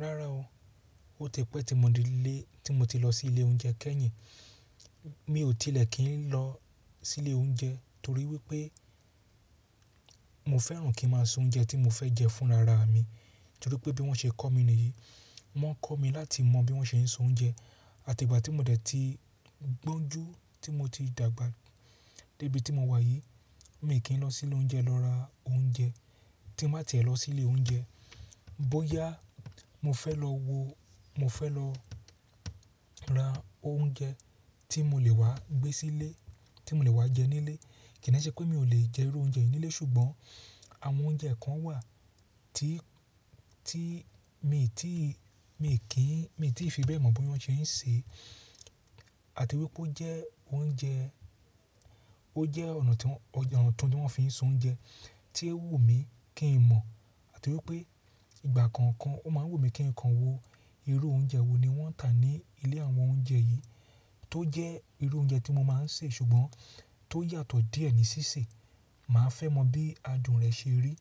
Rárá o, ó ti pẹ́ tí mo ti lọ sí ilé oúnjẹ kẹ́yìn. Mi ò tilẹ̀ kí n lọ sílé oúnjẹ torí wípé mo fẹ́ràn kí ń máa soúnjẹ tí mo fẹ́ jẹ fún rara mi. Torí pé bí wọ́n ṣe kọ́ mi nìyí, wọ́n kọ́ mi láti mọ bí wọ́n ṣe ń so oúnjẹ. Àtigbà tí mo dẹ̀ ti gbóńjú tí mo ti dàgbà débi tí mo wà yìí, mi kì n lọ silé oúnjẹ lọ ra oúnjẹ tí n bá tìẹ lọ sílé oúnjẹ. Boyà, mo fẹ́ lọ wo, mo fẹ́ lọ ra oúnjẹ tí mo lè wá gbé sílé, tí mo lè wá jẹ nílé. Kì de ṣe pé mi ò lè jẹ irú oúnjẹ yìí nílé ṣùgbọ́n àwọn oúnjẹ kan wà tí ti mii tii, mii ki n, mii ti fi bẹ́ẹ̀ mọ bí wọ́n ṣe ń ṣe àti wípé ó jẹ oúnjẹ ó jẹ́ ọ̀nà tí wọn, ọ̀nà ọ̀tun ńi wọ́n fi ń soúnjẹ tí ó wù mí kí n mọ̀. Àti wípé ìgbà kọ̀ọ̀kan ó máa ń wù mí kí n kàn wo irú oúnjẹ wo ni wọ́n ń tà ní ilé àwọn oúnjẹ yìí tó jẹ́ irú oúnjẹ tí mo máa ń sè ṣùgbọ́n tó yàtọ̀ díẹ̀ ní ṣíṣe. Màá fẹ́ mọ bí adùn rẹ̀ ṣe rí.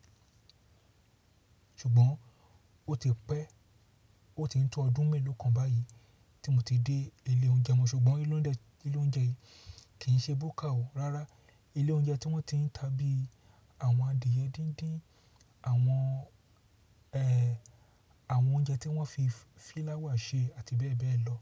Ṣùgbọ́n ó ti pẹ́, ó ti ń tó ọdún mélòó kan báyìí tí mo ti dé ilé oúnjẹ mọ ṣùgbọ́n ilé oúnjẹ yìí kì í ṣe búkà o. Rárá, ilé oúnjẹ tí wọ́n ti ń ta bí àwọn adìẹ díndín, àwọn ehn, àwọn oúnjẹ tí wọ́n fi fíláwà ṣe àti bẹ́ẹ̀ bẹ́ẹ̀ lọ.